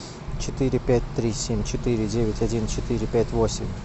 четыре пять три семь четыре девять один четыре пять восемь